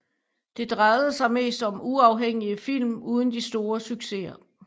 Det drejede sig mest om uafhængige film uden de store succeser